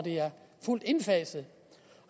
fuldt indfaset